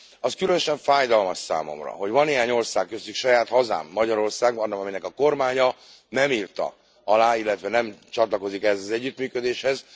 Az különösen fájdalmas számomra, hogy van néhány ország, köztük saját hazám, Magyarország, amelynek a kormánya nem írta alá, illetve nem csatlakozik ehhez az együttműködéshez.